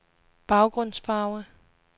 baggrundsfarve